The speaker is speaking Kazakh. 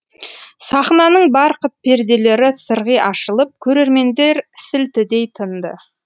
сахнаның барқыт перделері сырғи ашылып көрермендер сілтідей тынды